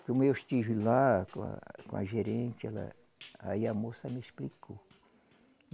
Como eu estive lá com a, com a gerente ela, aí a moça me explicou.